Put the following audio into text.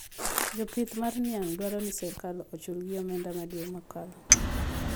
Jopith mar niang` dwaro ni sirkal ochul gi omenda ma dwe mokalo